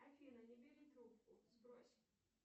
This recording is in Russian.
афина не бери трубку сбрось